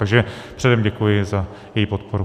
Takže předem děkuji za její podporu.